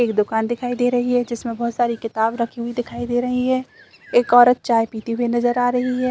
एक दुकान दिखाई दे रही है जिसमें बहोत सारी किताब रखी हुई दिखाई दे रही है एक औरत चाय पीती हुई नजर आ रही हैं ।